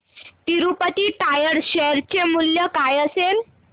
Tirupati tyres share चे मूल्य काय असेल